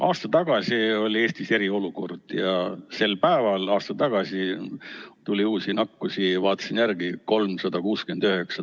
Aasta tagasi oli Eestis eriolukord ja sel päeval aasta tagasi tuli uusi nakkusi – vaatasin järgi – 369.